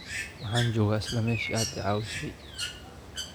Waxaan joogaa isla meeshii aad i caawisay